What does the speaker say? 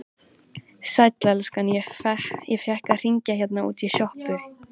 Sæll elskan, ég fékk að hringja hérna útí sjoppu.